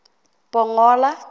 pongola